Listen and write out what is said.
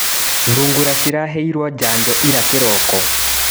Thungura ciraheirwo janjo ira kĩroko.